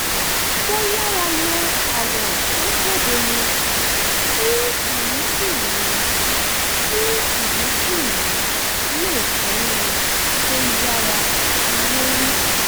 mo yára lo àwọ̀ tó bóde mu kí irísí mi kí irísí mi le tẹ́wọ̀n tó yára lórí